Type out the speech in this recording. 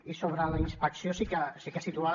i sobre la inspecció sí que situar